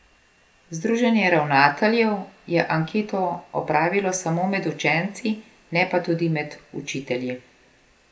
Združenje ravnateljev je anketo opravilo samo med učenci, ne pa tudi med učitelji.